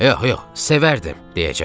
Yox, yox, sevərdim, deyəcəkdim.